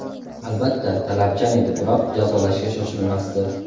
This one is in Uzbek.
Albatta, talabchan edi, biroq jazolashga shoshilmasdi.